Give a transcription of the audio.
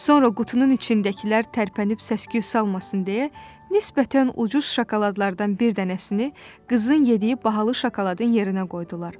Sonra qutunun içindəkilər tərpənib səsküy salmasın deyə nisbətən ucuz şokoladlardan bir dənəsini qızın yediyi bahalı şokoladın yerinə qoydular.